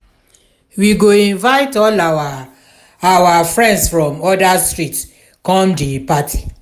we go invite all our our friends from oda street come di party.